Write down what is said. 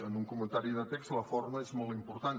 en un comentari de text la forma és molt important